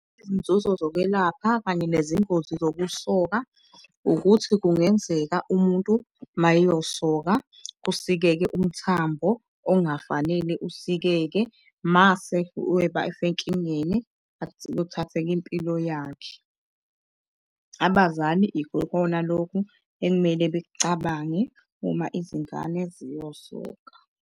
Izinzuzo zokwelapha kanye nezingozi zokusoka ukuthi kungenzeka umuntu mayeyosoka kusikeke umthambo ongafanele usikeke mase senkingeni, kuthatheke impilo yakhe. Abazali ikona loku ekumele bekucabange uma izingane ziyosoka.